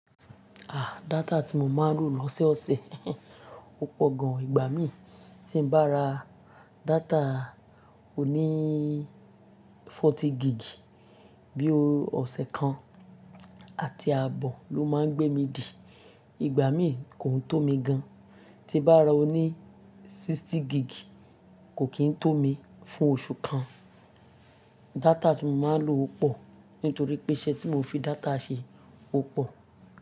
À, data tí mo máa ń lò lọ́sẹ́ ọ̀sẹ̀, ó pọ̀ gan. Ìgbà mí tí n bá ra data oni forty gigbi, bí i ọ̀sẹ̀ kan àti ààbọ̀ ló máa ń gbé mi dì. Ìgbà mí kò n tó mi gan. Ti n bá ra oni sixty gigbi, kò kí ń tó mi fún oṣù kan. Data tí mo máa ń lò pọ̀, nítorí pé iṣẹ́ tí mo fi data ṣe pọ̀